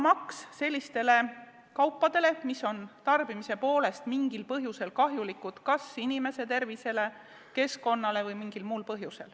Aktsiis on selliste kaupade lisamaks, mille tarbimine on kahjulik kas inimese tervisele, keskkonnale või mingil muul põhjusel.